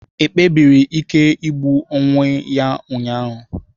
Ekpebiri ikpe igbu onwe ya ụnyahụ?